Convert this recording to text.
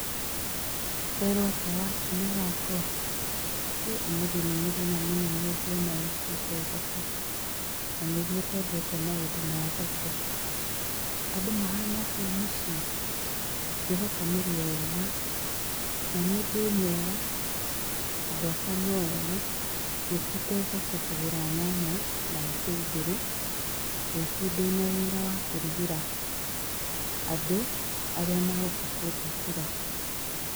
Kwerũo atĩa wakinĩ wakwa? Ĩ ũmũthĩ nĩ mũthenya mũnene ũngĩona ũkĩte thoko na nĩguo ũtendete maũndũ ma thoko. Andũ mahana atĩa mũciĩ? Ngwĩhoka mũrĩ o ega, na niĩ ndĩ o mwega, andũ akwa no ega. Ngũkĩte thoko kũgũra nyanya na itũngũrũ nĩũndũ rũciũ ndĩna wĩra wa kũrugĩra andũ arĩa maroka kũnjakĩra.